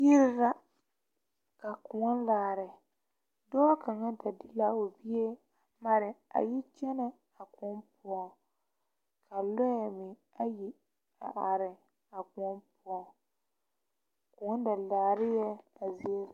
Yiri la ka koɔ laare dɔɔ kaŋa da de la o bie mare a yi kyɛnɛ a kõɔ poɔ a lɔɛ meŋ ayi a are a kõɔ poɔ kõɔ da laare la a zie.